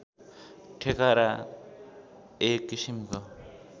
ठेकारा एक किसिमको